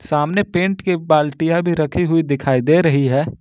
सामने पेंट की बाल्टिया भी रखी हुई दिखाई दे रही है।